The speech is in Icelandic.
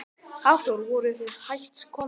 Hafþór: Voruð þið hætt komnir?